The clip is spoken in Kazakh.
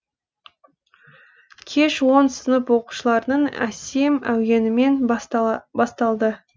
кеш он сынып оқушыларының әсем әуенімен басталды